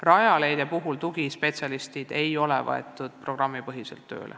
Rajaleidja tugispetsialistid ei ole tööl programmipõhiselt.